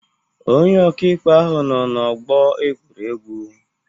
Onye ọka ikpe ahụ nọọ n'ọgbọ egwuregwu